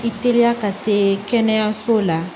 I teliya ka se kɛnɛyasow la